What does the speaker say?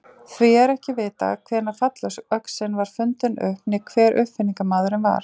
Því er ekki vitað hvenær fallöxin var fundin upp né hver uppfinningamaðurinn var.